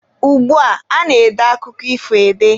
Ugbua, a na-ede akụkọ ifo ede.